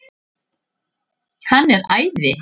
Hann er æði!